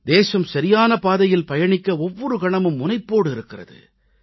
தேசம் சரியான பாதையில் பயணிக்க ஒவ்வொரு கணமும் முனைப்போடு இருக்கிறது